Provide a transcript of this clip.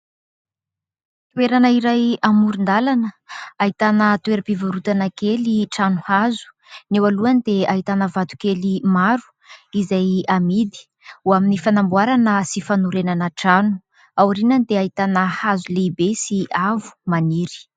Toerana iray amoron-dalana ahitana toeram-pivarotana kely trano hazo. Ny eo alohany dia ahitana vato kely maro izay amidy ho amin'ny fanamboarana sy fanorenana trano. Ao aorinany dia ahitana hazo lehibe sy avo maniry.